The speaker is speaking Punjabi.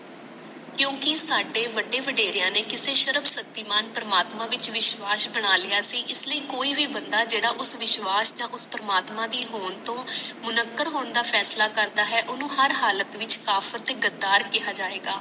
ਕਿਉਂਕਿ ਸਾਡੇ ਵੱਡੇ ਵਡੇਰਿਆਂ ਨੇ ਕਿਸੇ ਸਰਵ ਸ਼ਕਤੀ ਮਨ ਪ੍ਰਮਾਤਮਾ ਵਿੱਚ ਵਿਸ਼ਵਾਸ ਬਣਾ ਲਿਆ ਸੀ ਇਸ ਲਈ ਕੋਈ ਵੀ ਬੰਦਾ ਜਿਹੜਾ ਉਸ ਵਿਸ਼ਵਾਸ ਨਾਲ ਉਸ ਪ੍ਰਮਾਤਮਾ ਦੀ ਹੋਣ ਤੋਂ ਮੁਨਕਰ ਹੋਣ ਦਾ ਵਸਲ ਕਰਦਾ ਹੈ ਤਾ ਓਹਨੂੰ ਹਰ ਹਾਲਤ ਵਿਚ ਕਾਫ਼ਤ ਤੇ ਗ਼ਦਰ ਕਿਹਾ ਜਾਇਗਾ